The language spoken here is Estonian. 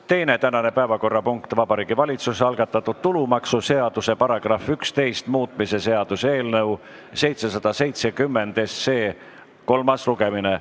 Teine tänane päevakorrapunkt: Vabariigi Valitsuse algatatud tulumaksuseaduse § 11 muutmise seaduse eelnõu 770 kolmas lugemine.